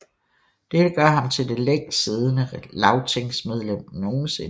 Dette gør ham til det længst siddende lagtingmedlem nogensinde